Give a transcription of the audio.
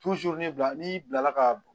bila n'i bilala ka b